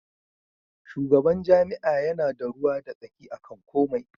Shugaban jami'a yana da ruwa da tsaki akan komai.